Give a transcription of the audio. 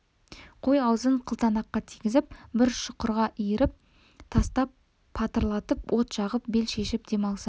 қой аузын қылтанаққа тигізіп бір шұқырға иіріп тастап патырлатып от жағып бел шешіп дем алса